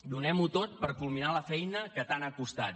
donem ho tot per culminar la feina que tant ha costat